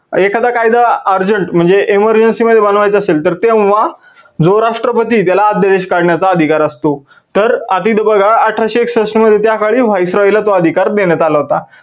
एखादा कायदा urgent म्हणजे emergency मध्ये बनवायचा असेल तर तेव्हा जो राष्ट्रपती आहे, त्याला अध्यादेश काढण्याचा अधिकार असतो. तर आता इथं बघा अठराशे एकसष्ठ मध्ये त्या काळी viceroy ला तो अधिकार देण्यात आला होता.